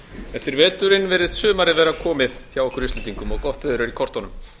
eftir veturinn virðist sumarið vera komið hjá okkur íslendingum og gott verður er í kortunum